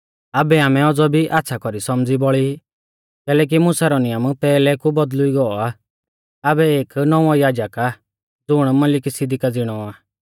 आबै आमै औज़ौ भी आच़्छ़ा कौरी सौमझ़ी बौल़ी कैलैकि मुसा रौ नियम पैहलै कु बौदल़ुई गौ आ आबै एक नौंवौ याजक आ ज़ुण मलिकिसिदका ज़िणौ आ